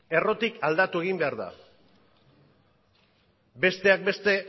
errotik aldatu egin behar da besteak beste